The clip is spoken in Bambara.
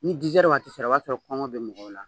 Ni waati sera o b'a sɔrɔ kɔngɔ bɛ mɔgɔw la.